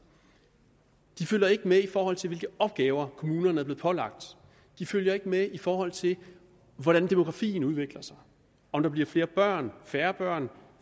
de følger ikke med i forhold til hvilke opgaver kommunerne er blevet pålagt de følger ikke med i forhold til hvordan demografien udvikler sig om der bliver flere børn færre børn